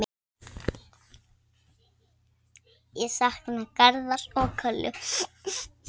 Ég sakna Garðars og Köllu.